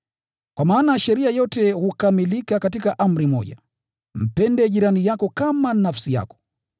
Kwa maana sheria yote hukamilika katika amri moja: “Mpende jirani yako kama nafsi yako.”